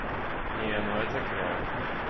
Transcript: не ну это кряк